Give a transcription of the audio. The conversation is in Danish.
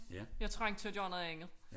Jeg trængte til at gøre noget andet